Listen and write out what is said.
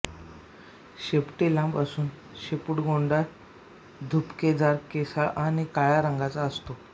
शेपटी लांब असून शेपुटगोंडा झुपकेदार केसाळ आणि काळ्या रंगाचा असतो